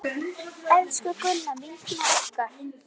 Elsku Gunna, vinkona okkar!